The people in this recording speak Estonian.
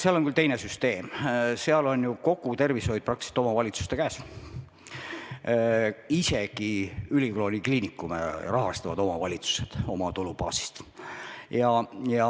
Seal on küll teine süsteem – peaaegu kogu tervishoid on omavalitsuste käes, isegi ülikooli kliinikume rahastavad omavalitsused oma tulubaasist.